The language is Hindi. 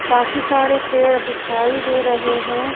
काफी सारे पेड़ दिखाई दे रहे हैं।